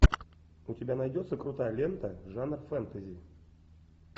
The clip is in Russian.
у тебя найдется крутая лента жанр фэнтези